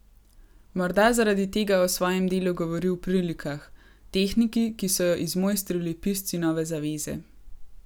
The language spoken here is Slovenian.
Morda zaradi tega o svojem delu govori v prilikah, tehniki, ki so jo izmojstrili pisci Nove zaveze.